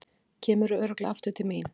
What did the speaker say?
Kemurðu örugglega aftur til mín?